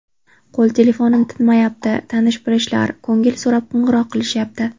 Qo‘l telefonim tinmayapti, tanish-bilishlar ko‘ngil so‘rab qo‘ng‘iroq qilishyapti.